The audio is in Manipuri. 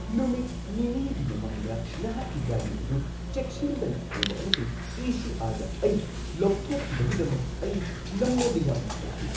ꯅꯨꯃꯤꯠ ꯅꯤꯅꯤꯒꯤ ꯃꯃꯥꯡꯗ ꯅꯍꯥꯛꯀꯤ ꯒꯥꯔꯤ ꯑꯗꯨ ꯆꯦꯛꯁꯤꯟꯗꯅ ꯊꯧꯕ ꯑꯃꯁꯨꯡ ꯏ. ꯁꯤ. ꯑꯥꯔ. ꯗ ꯑꯩ ꯂꯧꯊꯣꯛꯈꯤꯕꯒꯤꯗꯃꯛ ꯑꯩ ꯅꯪꯉꯣꯟꯗ ꯌꯥꯝꯅ ꯁꯥꯎꯈꯤ ꯫